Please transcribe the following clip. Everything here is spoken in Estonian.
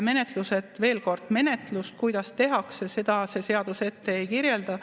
Veel kord: kuidas menetlust tehakse, seda see seadus ette ei kirjuta.